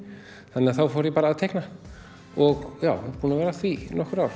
þannig að þá fór ég bara að teikna og já er búinn að vera að því í nokkur ár